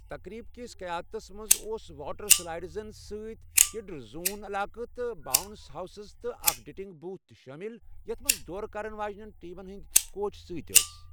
تقریٖب کِس قیادتس منٛز اوس واٹر سلائیڈزَن سۭتۍ کِڈز زون علاقہ، تہٕ باونٛس ہاوسِز تہٕ اکھ ڈنکنٛگ بوٗتھ تہِ شٲمِل، یَتھ منٛز دورٕ کرَن واجٮیٚنۍ ٹیمن ہِنٛدۍ کوچ سۭتۍ ٲسۍ۔